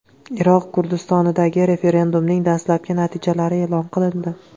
Iroq Kurdistonidagi referendumning dastlabki natijalari e’lon qilindi.